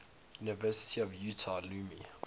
university of utah alumni